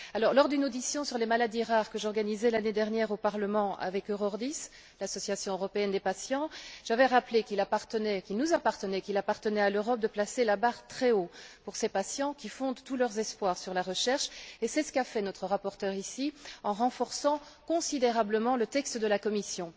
Lors d'une audition sur les maladies rares, que j'ai organisée l'année dernière au Parlement avec Eurordis l'association européenne des patients j'avais rappelé qu'il nous appartenait, qu'il appartenait à l'Europe, de placer la barre très haut pour ces patients qui fondent tous leurs espoirs sur la recherche, et c'est ce qu'a fait ici notre rapporteur en renforçant considérablement le texte de la Commission.